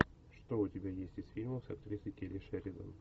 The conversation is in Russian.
что у тебя есть из фильмов с актрисой келли шеридан